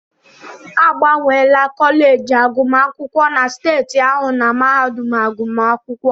Agbanwela kọleji agụmakwụkwọ na steeti ahụ na mahadum agụmakwụkwọ.